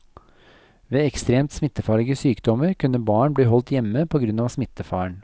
Ved ekstremt smittefarlige sykdommer kunne barn bli holdt hjemme på grunn av smittefaren.